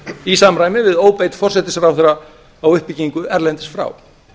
í samræmi við óbeit forsætisráðherra á uppbyggingu erlendis frá